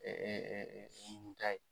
suguta ye